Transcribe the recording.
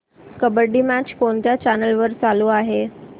kabaddi match कोणत्या channel वर चालू आहे